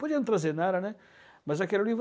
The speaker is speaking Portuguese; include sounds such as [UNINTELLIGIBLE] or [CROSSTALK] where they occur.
Podia não trazer nada, né, mas aquilo [UNINTELLIGIBLE]